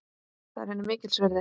Það er henni mikils virði.